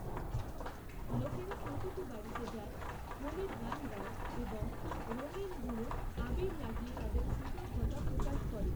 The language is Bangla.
লোকেরা প্রতিটি বাড়িতে যায়, হোলির গান গায় এবং রঙিন গুঁড়ো, আবীর, লাগিয়ে তাদের কৃতজ্ঞতা প্রকাশ করে।